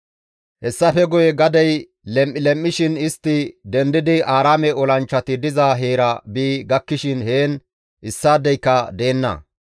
Hessafe guye gadey lem7i lem7ishin istti dendidi Aaraame olanchchati diza heera bi gakkishin heen issaadeyka deenna.